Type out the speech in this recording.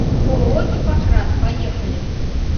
ооо гиппократ поехали